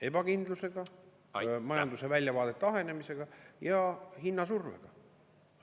Ebakindlusega, majanduse väljavaadete ahenemisega ja hinnasurvega.